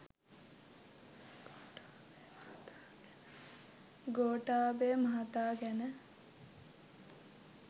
ගෝඨාභය මහතා ගැන